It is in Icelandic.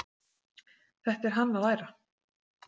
Þetta er hann að læra!